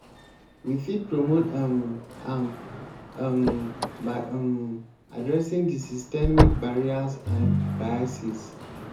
we fit promote um am um by um adressing di systemic barriers and biases.